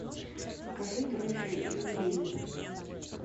закажи дрожжи и ванилин